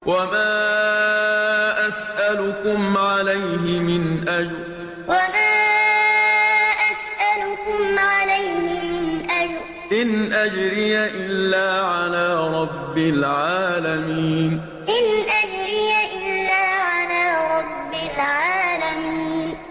وَمَا أَسْأَلُكُمْ عَلَيْهِ مِنْ أَجْرٍ ۖ إِنْ أَجْرِيَ إِلَّا عَلَىٰ رَبِّ الْعَالَمِينَ وَمَا أَسْأَلُكُمْ عَلَيْهِ مِنْ أَجْرٍ ۖ إِنْ أَجْرِيَ إِلَّا عَلَىٰ رَبِّ الْعَالَمِينَ